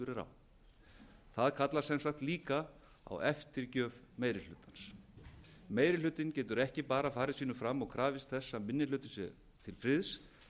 á það kallar sem sagt líka á eftirgjöf meiri hlutans meiri hlutinn getur ekki bara farið sínu fram og krafist þess að minni hlutinn sé til friðs